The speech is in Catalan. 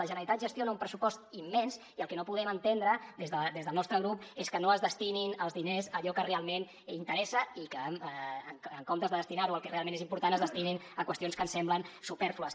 la generalitat gestiona un pressupost immens i el que no podem entendre des del nostre grup és que no es destinin els diners a allò que realment interessa i que en comptes de destinar ho al que realment és important es destinin a qüestions que ens semblen supèrflues